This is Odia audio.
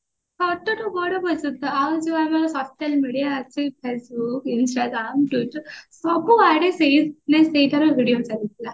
ଛୋଟ ଠୁ ବଡ ପର୍ଯ୍ୟନ୍ତ ଆଉ ଯୋଉ ଆମ social media ଅଛି Facebook Instagram twitter ସବୁ ଆଡେ ସେଇ video ଚାଲିଥିଲା